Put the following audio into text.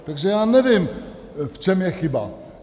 Takže já nevím, v čem je chyba.